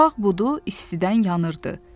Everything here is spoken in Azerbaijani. Sağ budu istidən yanırdı.